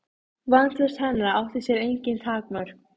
Vantraust hennar átti sér engin takmörk.